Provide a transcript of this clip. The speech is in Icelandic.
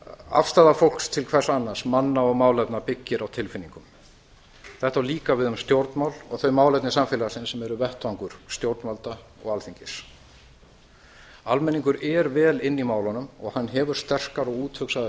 afstaða fólks til hvers annars manna og málefna byggir á tilfinningum þetta á líka við um stjórnmál og þau málefni samfélagsins sem eru vettvangur stjórnvalda og alþingis almenningur er vel inni í málunum og hann hefur sterkar og úthugsaðar skoðanir